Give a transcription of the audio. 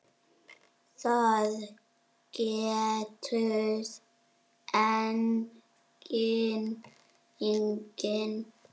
Það getur enginn.